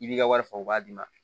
I b'i ka wari fa u b'a d'i ma